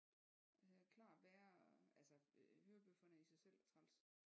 Det er klart værre altså hørebøfferne er i sig selv træls